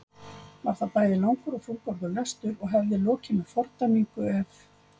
Var það bæði langur og þungorður lestur og hefði lokið með fordæmingu ef